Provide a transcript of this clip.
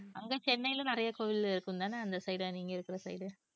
அங்க சென்னையில நிறைய கோவில் இருக்கும்தான அந்த side நீங்க இருக்கிற side